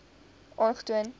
aangetoon